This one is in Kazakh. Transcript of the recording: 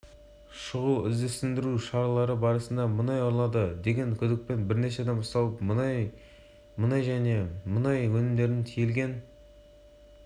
желтоқсан күні ұлттық қауіпсіздік комитеті сыбайлас жемқорлыққа қарсы іс-қимыл ұлттық бюросы және ішкі істер министрлігімен бірлесіп